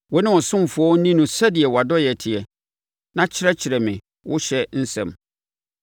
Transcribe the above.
Wo ne wo ɔsomfoɔ nni no sɛdeɛ wʼadɔeɛ teɛ na kyerɛkyerɛ me wo ɔhyɛ nsɛm.